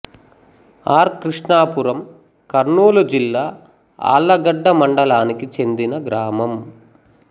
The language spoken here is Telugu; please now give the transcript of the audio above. ఆర్ కృష్ణాపురం కర్నూలు జిల్లా ఆళ్లగడ్డ మండలానికి చెందిన గ్రామం